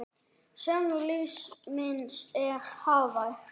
Söngur lífs míns er hávær.